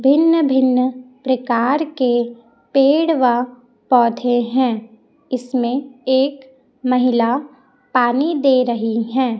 भिन्न भिन्न प्रकार के पेड़ व पौधे हैं इसमें एक महिला पानी दे रही हैं।